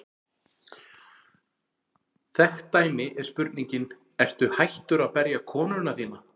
Þekkt dæmi er spurningin: Ertu hættur að berja konuna þína?